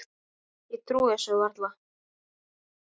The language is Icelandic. Ég trúi þessu varla.